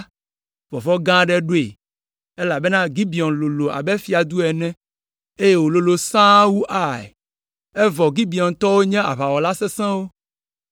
vɔvɔ̃ gã aɖe ɖoe, elabena Gibeon lolo abe fiadu ene, eye wòlolo sãa wu Ai, evɔ Gibeontɔwo nye aʋawɔla sesẽwo,